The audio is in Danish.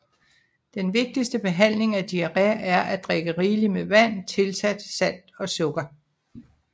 Den vigtigste behandling af diarré er at drikke rigeligt med vand tilsat salt og sukker